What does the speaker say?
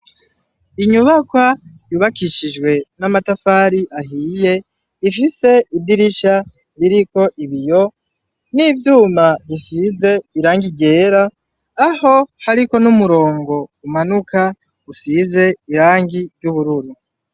Inyubakwa yubakishijwe n'amatafari ahiye ifise idirisha ririko ibiyo n'ivyuma bisize irangi ryera aho hariko n'umurongo umanuka usize irangi ry'ubururu.